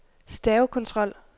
stavekontrol